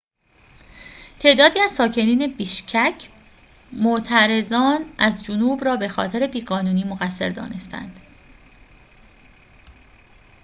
تعدادی از ساکنین بیشکک معترضان از جنوب را بخاطر بی‌قانونی مقصر دانسته‌اند